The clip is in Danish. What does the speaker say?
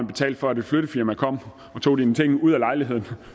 betalt for at et flyttefirma kom og tog ens ting ud af lejligheden